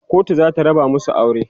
kotu zata raba masu aure